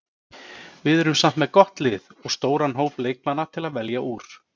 Við erum samt með gott lið og stóran hóp leikmanna til að velja úr.